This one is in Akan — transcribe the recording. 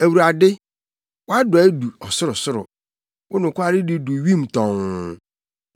Awurade, wʼadɔe du ɔsorosoro wo nokwaredi du wim tɔnn.